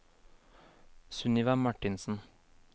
Sunniva Marthinsen